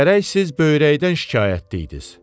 Gərək siz böyrəkdən şikayətliydiz.